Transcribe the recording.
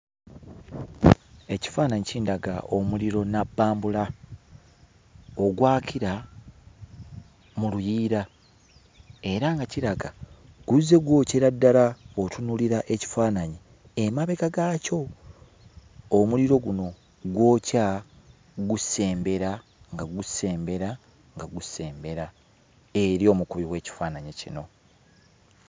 Ekifaananyi kindaga omuliro nabbambula ogwakira mu luyiira era nga kiraga guzze gw'okyera ddala w'otunuulira ekifaananyi emabega gaakyo omuliro guno gwokya gusembera nga gusembera nga gusembera eri omukubi w'ekifaananyi kino.